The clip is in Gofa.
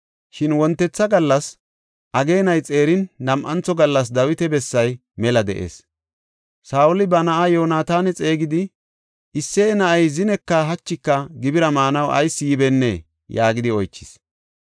Shin wontetha gallas, ageenay xeerin nam7antho gallas Dawita bessay mela de7ees. Saa7oli ba na7aa Yoonataana xeegidi, “Isseye na7ay zineka hachika gibira maanaw ayis yibennee?” yaagidi oychis.